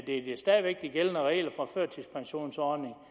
er stadig væk de gældende regler for førtidspensionsordningen